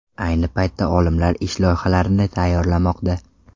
Ayni paytda olimlar ish loyihalarini tayyorlamoqda.